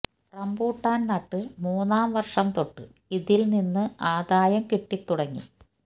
rambutan നട്ട് മൂന്നാം വര്ഷം തൊട്ട് ഇതില് നിന്നു ആദായം കിട്ടി തുടങ്ങി